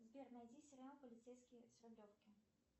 сбер найди сериал полицейский с рублевки